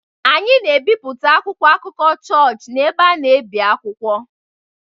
Anyị na-ebipụta akwụkwọ akụkọ chọọchị n’ebe a na-ebi akwụkwọ.